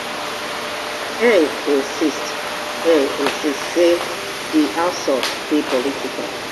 ngg insist ngg insist say di assault dey political